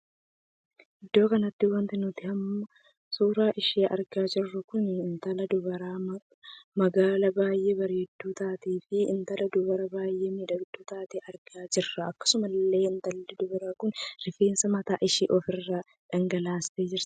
Iddoo kanatti wanti nuti amma suuraa ishee argaa jirru kun intala dubaraa magaala baay'ee bareedduu taatee fi intala dubaraa baay'ee miidhagduu taatee argaa jirra. akkasuma illee intalli dubaraa kun rifeensa mataa ishee ofirraa dhagalaastee jirti.